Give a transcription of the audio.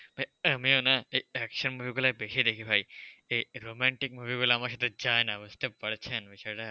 ভাই আমিও না এই action movie গুলোয় বেশি দেখি ভাই, এই romantic movie গুলো আমার সাথে যায়না। বুঝতে পারছেন বিষয়টা?